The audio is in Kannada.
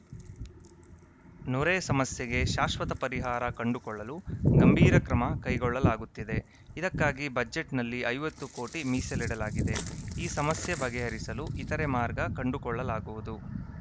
ನೊರೆ ಸಮಸ್ಯೆಗೆ ಶಾಶ್ವತ ಪರಿಹಾರ ಕಂಡುಕೊಳ್ಳಲು ಗಂಭೀರ ಕ್ರಮ ಕೈಗೊಳ್ಳಲಾಗುತ್ತಿದೆ ಇದಕ್ಕಾಗಿ ಬಜೆಟ್‌ನಲ್ಲಿ ಐವತ್ತು ಕೋಟಿ ಮೀಸಲಿಡಲಾಗಿದೆ ಈ ಸಮಸ್ಯೆ ಬಗೆಹರಿಸಲು ಇತರೆ ಮಾರ್ಗ ಕಂಡುಕೊಳ್ಳಲಾಗುವುದು